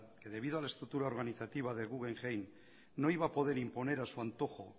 que debido a la estructura organizativa del guggenheim no iba a poder imponer a su antojo